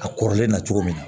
A kɔrɔlen na cogo min na